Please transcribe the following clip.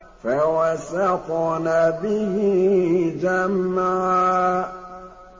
فَوَسَطْنَ بِهِ جَمْعًا